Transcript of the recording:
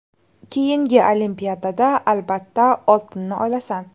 Keyingi Olimpiadada albatta oltinni olasan.